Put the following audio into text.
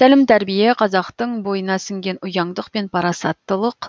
тәлім тәрбие қазақтың бойына сіңген ұяңдық пен парасатттылық